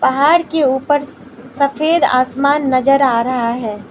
पहाड़ के ऊपर सफेद आसमान नजर आ रहा है।